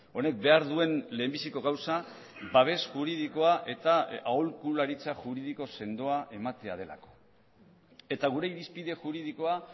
honek behar duen lehenbiziko gauza babes juridikoa eta aholkularitza juridiko sendoa ematea delako eta gure irizpide juridikoa